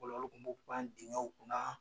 Fɔlɔ olu kun b'u pan digɛw kun na